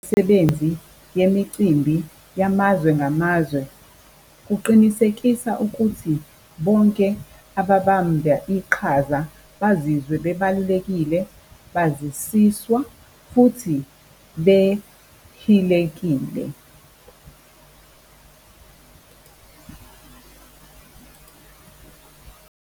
Imisebenzi yemicimbi yamazwe ngamazwe. Kuqinisekisa ukuthi bonke ababamba iqhaza bazizwe bebalulekile, bazisiswa futhi behilekile.